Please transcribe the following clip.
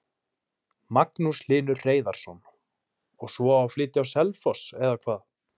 Magnús Hlynur Hreiðarsson: Og svo á að flytja á Selfoss eða hvað?